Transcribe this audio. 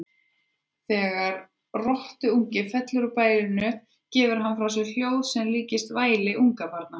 Þegar rottuungi fellur úr bælinu gefur hann frá sér hljóð sem líkist mjög væli ungbarna.